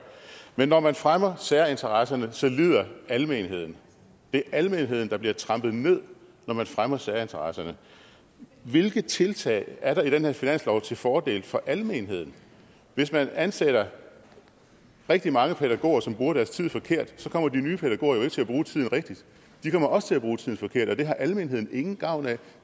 men når man fremmer særinteresserne så lider almenheden det er almenheden der bliver trampet ned når man fremmer særinteresserne hvilke tiltag er der i den her finanslov til fordel for almenheden hvis man ansætter rigtig mange pædagoger som bruger deres tid forkert kommer de nye pædagoger jo ikke til at bruge tiden rigtigt de kommer også til at bruge tiden forkert og det har almenheden ingen gavn af